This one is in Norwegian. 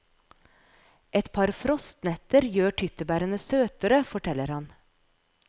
Et par frostnetter gjør tyttebærene søtere, forteller han.